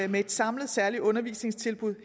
med et samlet særligt undervisningstilbud